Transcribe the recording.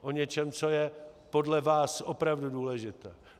O něčem, co je podle vás opravdu důležité.